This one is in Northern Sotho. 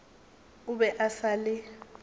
o be a sa le